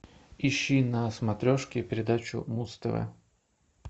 ищи на смотрешке передачу муз тв